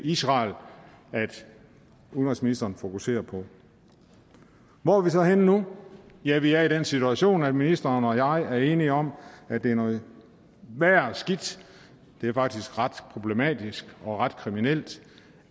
israel udenrigsministeren fokuserer på hvor er vi så henne nu ja vi er i den situation at ministeren og jeg er enige om at det er noget værre skidt det er faktisk ret problematisk og ret kriminelt